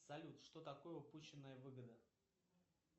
салют что такое упущенная выгода